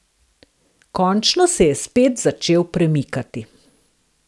Končno se je spet začel premikati.